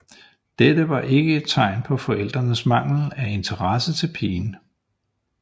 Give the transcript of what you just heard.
Dette var ikke et tegn på forældrenes mangel af interesse til pigen